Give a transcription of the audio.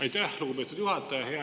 Aitäh, lugupeetud juhataja!